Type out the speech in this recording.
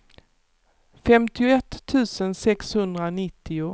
femtioett tusen sexhundranittio